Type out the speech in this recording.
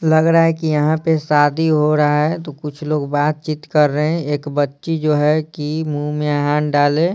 लग रहा है कि यहां पे शादी हो रहा है तो कुछ लोग बातचीत कर रहे हैं एक बच्ची जो है कि मुंह में हाथ डाले --